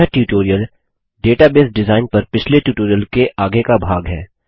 यह tutorial database design पर पिछले ट्यूटोरियल के आगे का भाग है